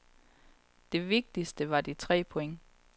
Det vigtigste var de tre point.